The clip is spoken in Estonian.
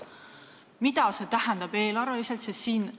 Mida see eelarveliselt tähendab?